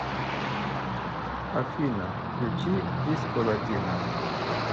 афина включи дисколатино